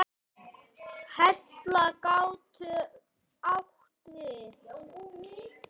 Hella getur átt við